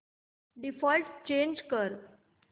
default change कर